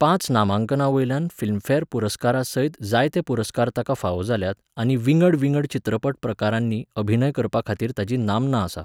पांच नामांकनांवयल्यान फिल्मफॅर पुरस्कारासयत जायते पुरस्कार ताका फावो जाल्यात आनी विंगड विंगड चित्रपट प्रकारांनी अभिनय करपाखातीर ताची नामना आसा.